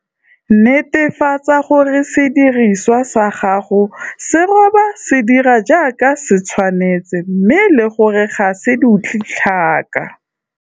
Netefatsa gore sediriswa sa gago sa go roba se dira jaaka se tshwanetse mme le gore ga se dutle tlhaka.